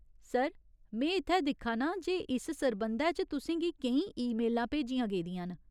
Sir, में इत्थै दिक्खा नां जे इस सरबंधै च तुसें गी केईं ईमेलां भेजियां गेदियां न।